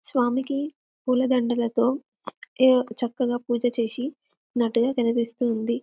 స్వామికి పూలదండలతో చక్కగా పూజ చేసి నట్టుగా కనిపిస్తుంది